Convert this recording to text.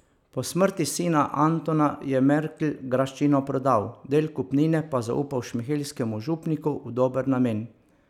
Po smrti sina Antona je Merkl graščino prodal, del kupnine pa zaupal šmihelskemu župniku v dober namen.